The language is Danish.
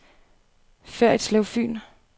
Ferritslev Fyn